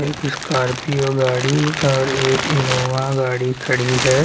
एक स्कॉर्पिओ गाड़ी और एक इनोवा गाड़ी खड़ी है।